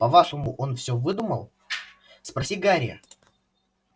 по-вашему он все выдумал спроси гарри